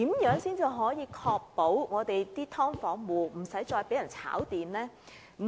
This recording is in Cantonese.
如何才能確保"劏房"租戶不再被"炒電"？